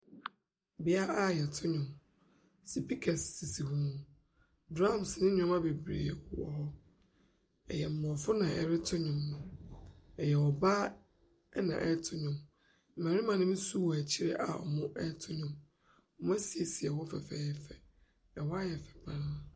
Bea a yɛto nnwom, sipikɛse sisi hɔ, drums ne nneɛma bebree wɔ hɔ, ɛyɛ aborɔfo na ɛreto nnwom, ɛyɛ ɔbaa na ɛreto nnwom. Mmarima ne bi nso wɔ akyire a wɛreto nnwom. Wɔasiesie hɔ fɛfɛɛfɛ, hɔ ayɛ fɛ pa ara.